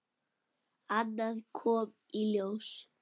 Annað kom í ljós.